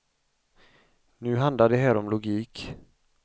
Nu handlar det här om logik.